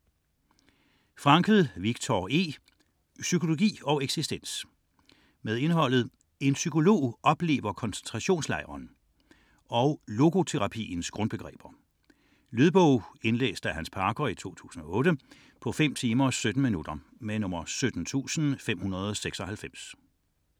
61.642 Frankl, Viktor E.: Psykologi og eksistens Indhold: En psykolog oplever koncentrationslejren; Logoterapiens grundbegreber. Lydbog 17596 Indlæst af Hans Parker. Spilletid: 5 timer, 17 minutter.